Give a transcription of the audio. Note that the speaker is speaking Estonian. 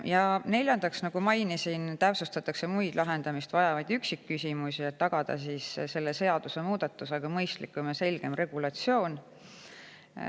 Ja neljandaks, nagu mainisin, täpsustatakse muid lahendamist vajavaid üksikküsimusi, et tagada selle seadusemuudatusega mõistlikum ja selgem regulatsioon.